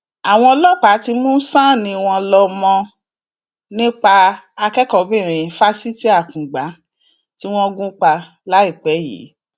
àwọn ọlọpàá ti mú sánnì wọn lọ mọ nípa akẹkọọbìnrin fásitì akungba tí wọn gún pa láìpẹ yìí